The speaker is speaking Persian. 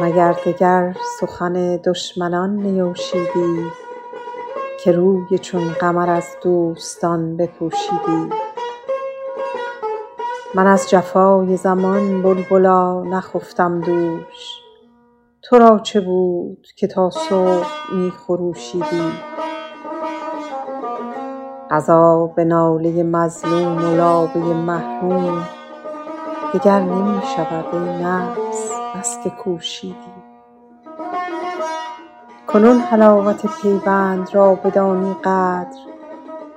مگر دگر سخن دشمنان نیوشیدی که روی چون قمر از دوستان بپوشیدی من از جفای زمان بلبلا نخفتم دوش تو را چه بود که تا صبح می خروشیدی قضا به ناله مظلوم و لابه محروم دگر نمی شود ای نفس بس که کوشیدی کنون حلاوت پیوند را بدانی قدر